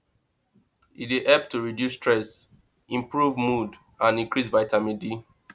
e dey help to reduce stress improve mood and increase vitamin d